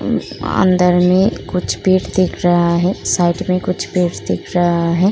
अन्दर में कुछ पेट दिख रहा है। साइड में कुछ पेट दिख रहा है।